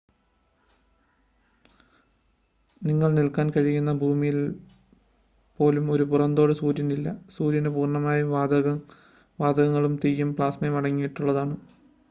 നിങ്ങൾക്ക് നിൽക്കാൻ കഴിയുന്ന ഭൂമിയിലെ പോലെ ഒരു പുറംതോട് സൂര്യനില്ല സൂര്യൻ പൂർണ്ണമായും വാതകങ്ങളും തീയും പ്ലാസ്മയും അടങ്ങിയിട്ടുള്ളതാണ്